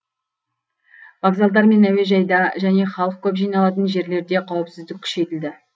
вокзалдар мен әуежайда және халық көп жиналатын жерлерде қауіпсіздік күшейтіледі